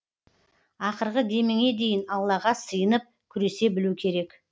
ақырғы деміңе дейін аллаға сыйынып күресе білу керек